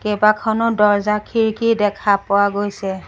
কেইবাখনো দৰ্জা খিৰিকী দেখা পোৱা গৈছে।